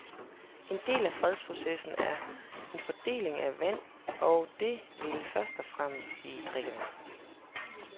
En del af fredsprocessen er fordelingen af vand, og det vil først og fremmest sige drikkevand.